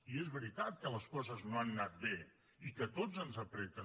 i és veritat que les coses no han anat bé i que a tots ens apreten